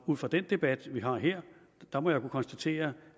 ud fra den debat vi har her må jeg kunne konstatere